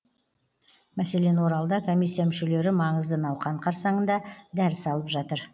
мәселен оралда комиссия мүшелері маңызды науқан қарсаңында дәріс алып жатыр